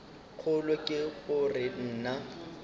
kgolo ke go re na